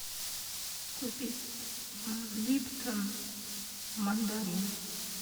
купить липтон мандарин